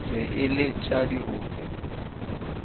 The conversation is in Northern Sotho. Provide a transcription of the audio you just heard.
be e le tša dirope